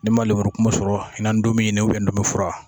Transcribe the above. N'i ma lemurukumu sɔrɔ i n ntomi ɲini ubiyɛn ntomifura